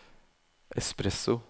espresso